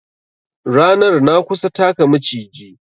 Ranar na kusa taka Maciji